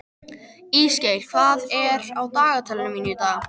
Ísgeir, hvað er á dagatalinu mínu í dag?